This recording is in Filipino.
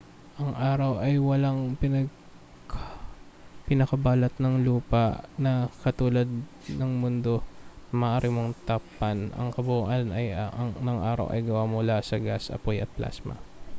ang araw ay walang pinakabalat ng lupa na katulad ng sa mundo na maaari mong tapakan ang kabuuan ng araw ay gawa mula sa mga gas apoy at plasma